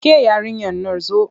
Ke yarinyar nan zo!